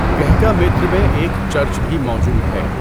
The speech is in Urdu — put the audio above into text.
گهکامیتر میں ایک چرچ بھی موجود ہے۔